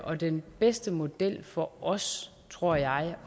og den bedste model for os tror jeg